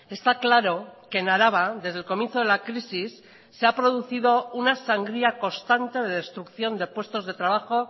está claro que en araba desde el comienzo de la crisis se ha producido una sangría constante de destrucción de puestos de trabajo